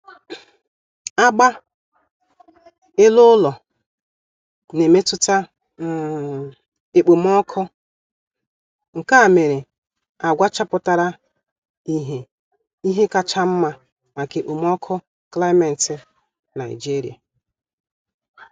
um Agba ele-ụlọ na-emetụta um ekpomọọkụ, nkea mere agwa chapụtara ihe ihe kacha nma maka ekpomọọkụ klimeti Nigeria